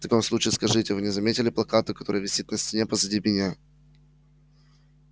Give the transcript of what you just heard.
в таком случае скажите вы не заметили плаката который висит на стене позади меня